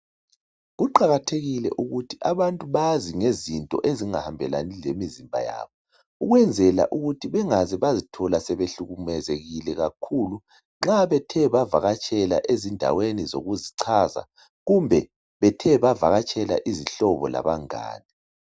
Kuqakathekile ukuthi abantu bazi ezingahambelani lemizimba yabo ukwenzela ukuthi bangaze baziithola sebehlukulezile kakhulu nxa bethe bavakatshela ezindaweni zokuzichaza kumbe bethe bavakatshela izihlobo labangane.